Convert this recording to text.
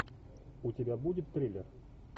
у тебя будет трейлер